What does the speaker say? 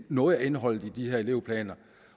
noget af indholdet i de her elevplaner